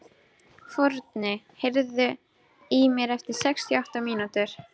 Forni, heyrðu í mér eftir sextíu og átta mínútur.